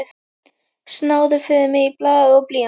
Náðu fyrir mig í blað og blýant.